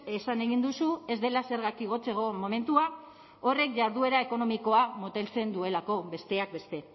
esan egin duzu ez dela zergak igotzeko momentua horrek jarduera ekonomikoa moteltzen duelako besteak beste